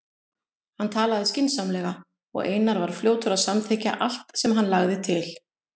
Hann talaði skynsamlega og Einar var fljótur að samþykkja allt sem hann lagði til.